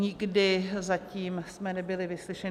Nikdy zatím jsme nebyli vyslyšeni.